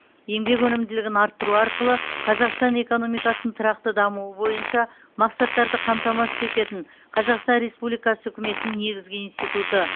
еңбек өнімділігін арттыру арқылы қазақстан экономикасының тұрақты дамуы бойынша мақсаттарды қамтамасыз ететін қазақстан республикасы үкіметінің негізгі институты